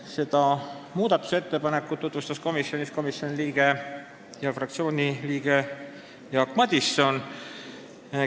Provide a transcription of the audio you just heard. Seda muudatusettepanekut tutvustas istungil komisjoni ja fraktsiooni liige Jaak Madison.